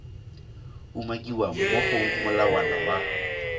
umakiwang mo go molawana wa